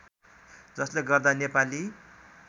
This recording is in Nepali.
जसले गर्दा नेपाली